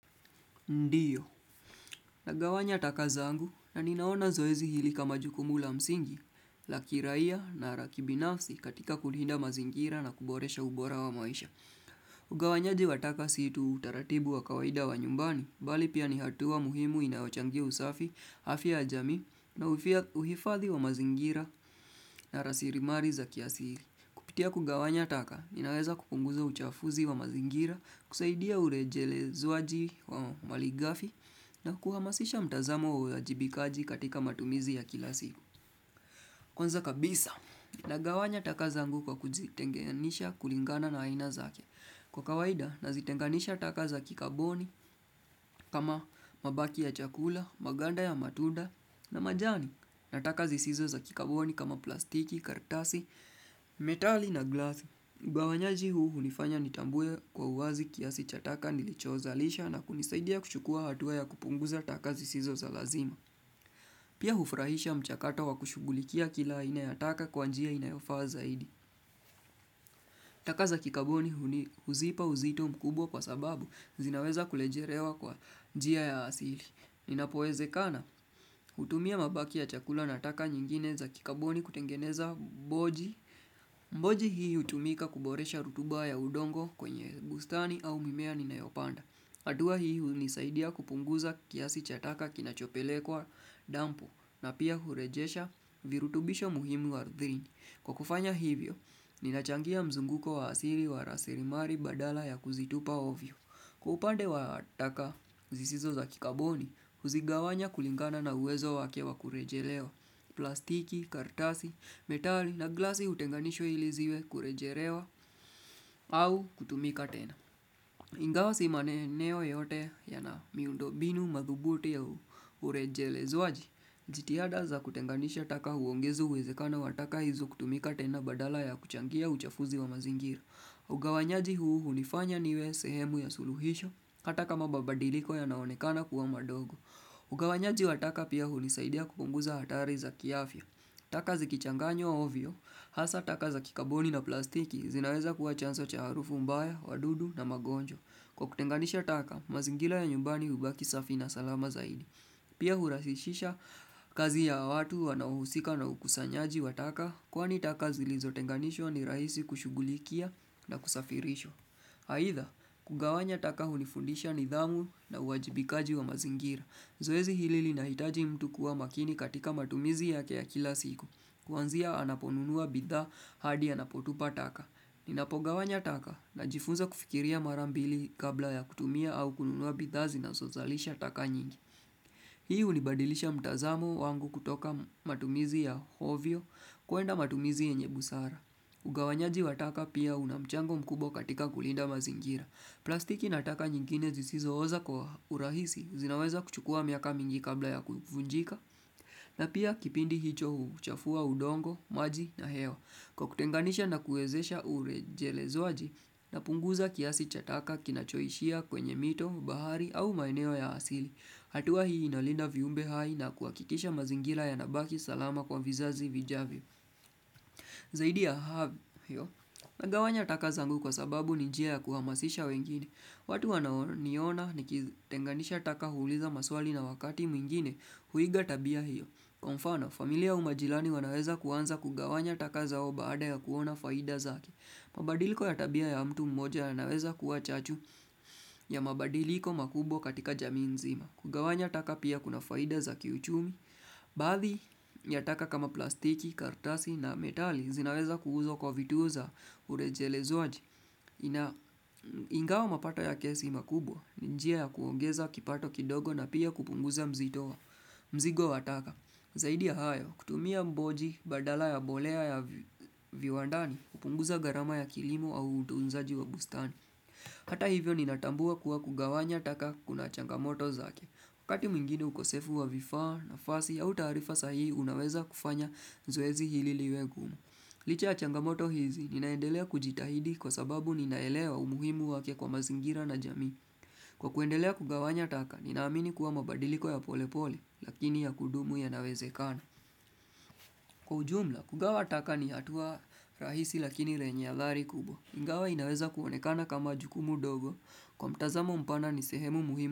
Ndio. Nagawanya taka zangu na ninaona zoezi hili kama jukumu la msingi, la kirai na laki binafsi katika kulinda mazingira na kuboresha ubora wa maisha. Ugawanyaji wa taka si tu utaratibu wa kawaida wa nyumbani, bali pia ni hatua muhimu inayochangia usafi, afya ya jamii uhifadhi wa mazingira na rasirimari za kiasiri. Kupitia kugawanya taka, inaweza kupunguza uchafuzi wa mazingira, kusaidia urejelezwaji wa malighafi, na kuhamasisha mtazamo wa uwajibikaji katika matumizi ya kila siku. Kwanza kabisa, nagawanya taka zangu kwa kuzitenganisha kulingana na aina zake. Kwa kawaida, nazitenganisha taka za kikaboni, kama mabaki ya chakula, maganda ya matunda, na majani, na taka zisizo za kikaboni kama plastiki, kartasi, metali na glasi. Ugawanyaji huu hunifanya nitambue kwa uwazi kiasi cha taka nilichozalisha na kunisaidia kushukua hatuwa ya kupunguza taka zisizo za lazima. Pia hufurahisha mchakato wa kushughulikia kila aina ya taka kwa njia inayofa zaidi. Taka za kikaboni huzipa uzito mkubwa kwa sababu zinaweza kulejerewa kwa njia ya asili. Inapowezekana, hutumia mabaki ya chakula na taka nyingine za kikaboni kutengeneza boji. Mboji hii hutumika kuboresha rutuba ya udongo kwenye bustani au mimea ninayopanda. Hatua hii hunisaidia kupunguza kiasi chataka kinachopelekwa dampu na pia hurejesha virutubisho muhimu ardhini. Kwa kufanya hivyo, ninachangia mzunguko wa asili wa rasirimari badala ya kuzitupa ovyo. Upande wa taka zisizo za kikaboni, huzigawanya kulingana na uwezo wake wa kurejelewa plastiki, kartasi, metali na glasi hutenganishwa ili ziwe kurejelewa au kutumika tena. Ingawa si maeneo yote yana miundo mbinu madhubuti ya urejelezwaji. Jitihada za kutenganisha taka huongeza uwezekana wa taka hizo kutumika tena badala ya kuchangia uchafuzi wa mazingira. Ugawanyaji huu hunifanya niwe sehemu ya suluhisho, hatakama mababadiliko yanaonekena kuwa madogo. Ugawanyaji wa taka pia hunisaidia kupunguza hatari za kiafya. Taka zikichanganywa ovyo hasa taka za kikaboni na plastiki zinaweza kuwa chanzo cha harufu mbaya, wadudu na magonjwa. Kwa kutenganisha taka, mazingira ya nyumbani hubaki safi na salama zaidi. Pia hurahisisha kazi ya watu wanauhusika na ukusanyaji wa taka kwani taka zilizo tenganishwa ni rahisi kushughulikia na kusafirishwa. Haitha, kugawanya taka hunifundisha nidhamu na uwajibikaji wa mazingira. Zoezi hili linahitaji mtu kuwa makini katika matumizi yake ya kila siku. Kuanzia anaponunua bidha hadi anapotupa taka. Ninapogawanya taka najifunza kufikiria mara mbili kabla ya kutumia au kununua bidha zinazozalisha taka nyingi. Hii hunibadilisha mtazamu wangu kutoka matumizi ya hovyo kuenda matumizi yenye busara. Ugawanyaji wataka pia unamchango mkubwa katika kulinda mazingira. Plastiki na taka nyingine zisizo oza kwa urahisi, zinaweza kuchukua miaka mingi kabla ya kuvunjika. Na pia kipindi hicho huchafua udongo, maji na hewa. Kwa kutenganisha na kuezesha urejelezwaji, napunguza kiasi cha taka kinachoishia kwenye mito, bahari au maeneo ya asili. Hatua hii inalinda viumbe hai na kuhakikisha mazingira yanabaki salama kwa vizazi vijavyo. Zaidi ya havyo, nagawanya taka zangu kwa sababu ni njia ya kuhamasisha wengine. Watu wanao niona nikitenganisha taka huuliza maswali na wakati mwingine huiga tabia hiyo. Kwa mfano, familia au majirani wanaweza kuanza kugawanya taka zao baada ya kuona faida zake. Mabadiliko ya tabia ya mtu mmoja yanaweza kuwa chachu ya mabadiliko makubwa katika jamii nzima. Kugawanya taka pia kuna faida za kiuchumi Baadhi ya taka kama plastiki, kartasi na metali zinaweza kuuzwa kwa vituzwa urejelezwaji Ingao mapato ya si makubwa njia ya kuongeza kipato kidogo na pia kupunguza mzigo wa taka Zaidi ya hayo, kutumia mboji badala ya mbolea ya viwandani kupunguza gharama ya kilimo au utunzaji wa bustani Hata hivyo ninatambua kuwa kugawanya taka kuna changamoto zake. Wakati mwingine ukosefu wa vifaa nafasi au taarifa sahihi, unaweza kufanya zoezi hili liwe gumu. Licha ya changamoto hizi, ninaendelea kujitahidi kwa sababu ninaelewa umuhimu wake kwa mazingira na jamii. Kwa kuendelea kugawanya taka, ninaamini kuwa mabadiliko ya pole pole, lakini ya kudumu yanawezekana. Kwa ujumla, kugawa taka ni hatua rahisi lakini renye adhari kubwa. Ingawa inaweza kuonekana kama jukumu dogo, kwa mtazamo mpana ni sehemu muhimu.